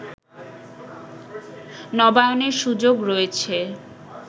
নবায়নের সুযোগ রয়েছে